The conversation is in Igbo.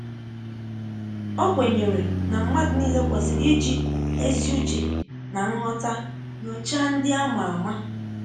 Ọ kwenyere ná mmadụ niile kwesịrị iji ezi uche ná nghọta nyochaa ndị a ma ama